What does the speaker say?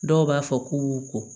Dɔw b'a fɔ k'u b'u ko